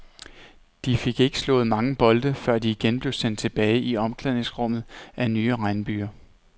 De fik ikke slået mange bolde, før de igen blev sendt tilbage i omklædningsrummet af nye regnbyger.